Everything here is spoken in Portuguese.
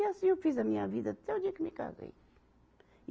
E assim eu fiz a minha vida até o dia que eu me casei.